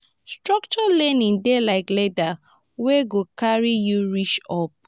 structured learning dey like ladder wey go carry you reach up.